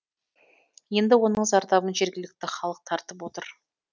енді оның зардабын жергілікті халық тартып отыр